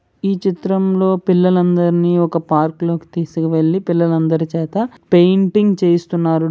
ఈ చిత్రంలో పిల్లలందరినీ ఒక పార్కు లోకి తీసుకువెళ్లి పిల్లలందరి చేత పెయింటింగ్ చేస్తున్నారు.